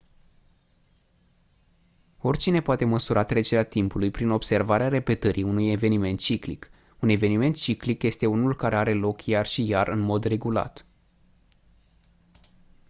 oricine poate măsura trecerea timpului prin observarea repetării unui eveniment ciclic un eveniment ciclic este unul care are loc iar și iar în mod regulat